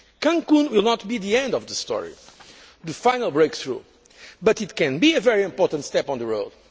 Cancún will not be the end of the story, the final breakthrough, but it can be a very important step on the